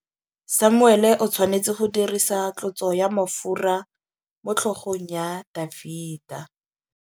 Samuele o tshwanetse go dirisa tlotsô ya mafura motlhôgong ya Dafita.